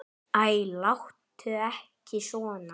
Æ, láttu ekki svona.